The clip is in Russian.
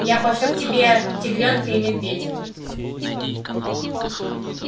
я пошлю к тебе тигрёнка и медведя